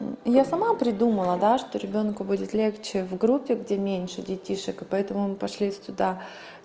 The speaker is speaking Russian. я сама придумала да что ребёнку будет легче в группе где меньше детишек и поэтому мы пошли туда